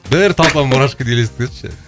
бір толпа мурашканы елестетші